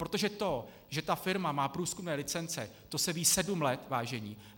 Protože to, že ta firma má průzkumné licence, to se ví sedm let, vážení.